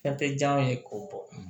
Fɛn tɛ diya n ye k'o bɔ